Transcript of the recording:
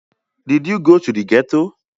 À ïî÷åìó ó âàñ íåò â ýòîì ñëó÷àè èçíè?